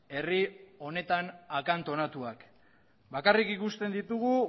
herri honetan akantonatuak bakarrik ikusten ditugu